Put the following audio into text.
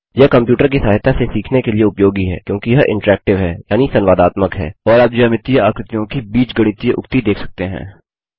यह कंप्यूटर की सहायता से सीखने के लिए उपयोगी है क्योंकि यह इंटरेक्टिव है यानि संवादात्मक है और आप ज्यामितीयज्यामितीय आकृतियों की बीजगणितीय उक्ति देख सकते हैं